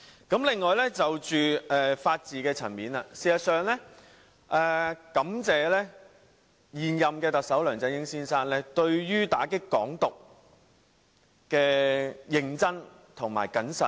此外，在法治層面，我感謝現任特首梁振英先生對於打擊"港獨"的認真和謹慎。